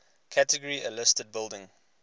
category a listed buildings